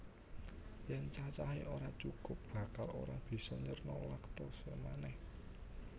Yèn cacahé ora cukup bakal ora bisa nyerna lactose manèh